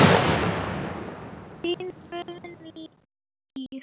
Þín Guðný Ýr.